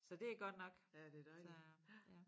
Så det er godt nok så ja